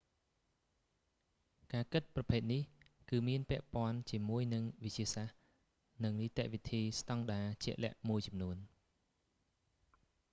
ការគិតប្រភេទនេះ គឺមានពាក់ព័ន្ធជាមួយនឹងវិទ្យាសាស្ត្រ និងនីតិវិធីស្ដង់ដាជាក់លាក់មួយចំនួន